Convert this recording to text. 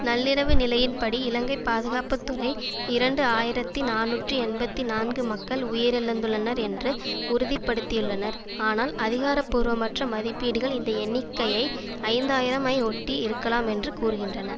நள்ளிரவு நிலையின்படி இலங்கை பாதுகாப்பு துறை இரண்டு ஆயிரத்தி நாநூற்றி எண்பத்தி நான்கு மக்கள் உயிரிழந்துள்ளனர் என்று உறுதி படுத்தியுள்ளனர் ஆனால் அதிகாரபூர்வமற்ற மதிப்பீடுகள் இந்த எண்ணிக்கைஐ ஐந்து ஆயிரம் ஐ ஒட்டி இருக்கலாமென்று கூறுகின்றன